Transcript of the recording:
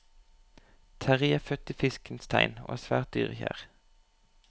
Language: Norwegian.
Terrie er født i fiskens tegn og er svært dyrekjær.